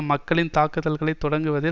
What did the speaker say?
மக்களின் தாக்குதல்களை தொடக்குவதில்